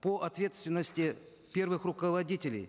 по ответственности первых руководителей